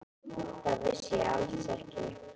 Það vissi ég alls ekki.